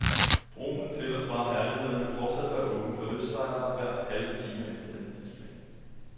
Broen til og fra herlighederne vil fortsat være åben for lystsejlere hver halve time efter denne tidsplan.